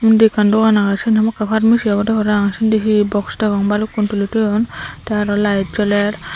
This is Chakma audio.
undi ekkan dogan agey siyen hamakkai ekkan pharmacy obodey parapang sindi hi box degong balukkun tuli toyon tey aro layed joler.